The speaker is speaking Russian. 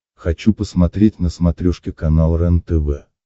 хочу посмотреть на смотрешке канал рентв